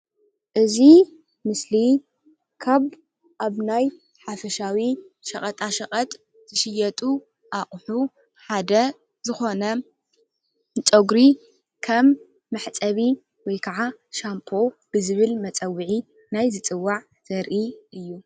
እዚ ምስሊ ካብ ኣብ ናይ ሓፈሻዊ ሸቀጣ ሸቀጥ ዠሽየጡ ኣቁሑ ሓደ ዝኮነ ጨጉሪ ከም መሕፀቢ ወይ ከዓ ሻምፖ ብዝብል መፀወዒ ናይ ዝፅዋዕ ዘርኢ እዩ፡፡